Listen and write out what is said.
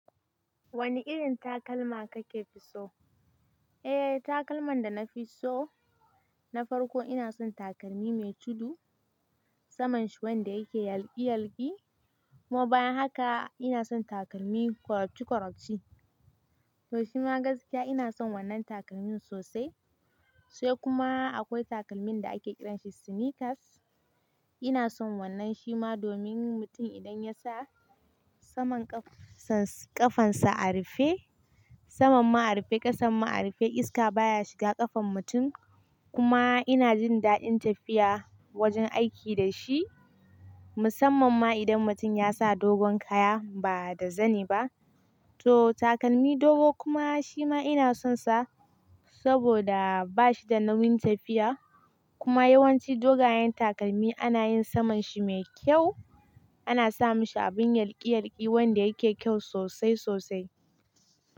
Wani irin takalma kake fi so? Eh takalman da na fi so na farko ina son takalmi mai tudu saman shi wanda yake yalƙi-yalƙi kuma bayan haka ina son takalmi korafci-korafci to shima gaskiya ina son wannan takalmin sosai sai kuma akwai takalmin da ake kiransa sneakers ina son wannan shima domin mutum idan ya sa saman ƙafan- ƙafan sa a rufe saman ma a rufe ƙasan ma a rufe iska baya shiga ƙafan mutum kuma ina jin daɗin tafiya wajen aiki da shi musamman ma idan mutum ya sa dogon kaya ba da zani ba to takalmi dogo kuma shima ina sonsa saboda bashi da nauyin tafiya kuma yawanci dogayen takalmi ana yin saman shi mai kyau ana sa mashi abin yalƙi-yalƙi wanda yake kyau sosai sosai.